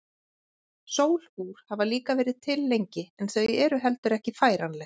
Sólúr hafa líka verið til lengi en þau eru heldur ekki færanleg.